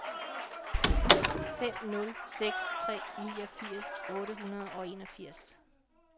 fem nul seks tre niogfirs otte hundrede og enogfirs